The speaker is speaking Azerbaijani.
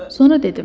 Sonra dedim.